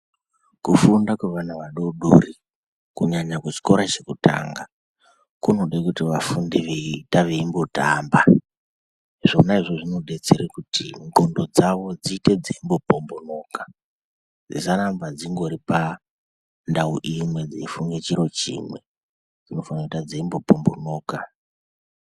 Kufunda kwevana vadoodori, kunyanya kuchikora chekutanga, kunode kuti vafunde veiita veimbotamba. Zvona izvozvo zvinodetsera kuti qondo dzavo dziite dzeimbopombonoka, zisaramba dzingori pandau imwe, dzeifunge chiro chimwe, dzinofana kuite dzeimbopombonoka.